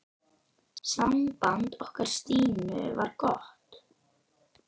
Samband okkar Stínu var gott.